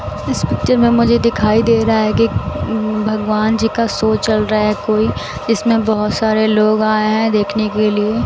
इस पिक्चर में मुझे दिखाई दे रहा है कि भगवान जी का शो चल रहा है कोई इसमें बहुत सारे लोग आए हैं देखने के लिए।